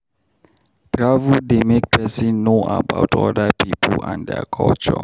Travel dey make person know about other pipo and their culture.